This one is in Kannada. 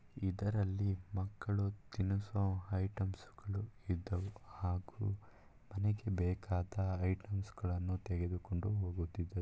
ಇದ್ರಲ್ಲಿ ಮಕ್ಕಳು ತಿನಿಸುವ ಐಟೆಮ್ಸ ಇದ್ದಾವೆ ಹಾಗೂ ಮನೆಗೆ ಬೇಕಾದ ಐಟೆಮ್ಸ ತೆಗೆದುಕೊಂಡು ಹೋಗುತ್ತಿದ್ದರು.